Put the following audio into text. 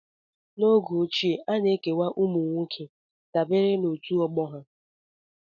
N'oge ochie, a na-ekewa ụmụ nwoke dabere na otu ọgbọ ha